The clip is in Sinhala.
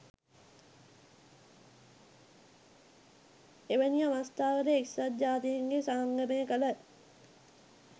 එවැනි අවස්ථාවල එක්සත් ජාතින්ගේ සංගමය කළ